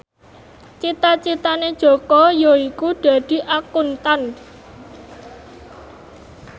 cita citane Jaka yaiku dadi Akuntan